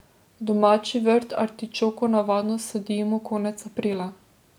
V domači vrt artičoko navadno sadimo konec aprila.